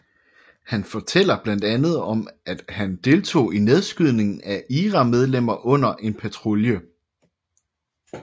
Han fortæller blandt andet at han deltog i nedskydningen af IRA medlemmer under en patrulje